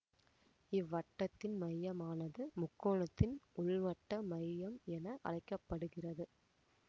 இவ்வட்டத்தின் மையமானது முக்கோணத்தின் உள்வட்ட மையம் என அழைக்க படுகிறது